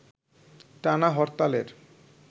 টানা হরতালের